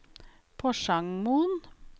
Porsangmoen